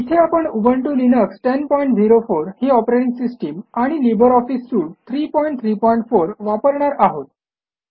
इथे आपण Ubuntu Linux 1004 ही ऑपरेटिंग सिस्टम आणि लिब्रे ऑफिस सूट 334 वापरणार आहोत